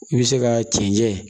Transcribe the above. I bɛ se ka cɛncɛn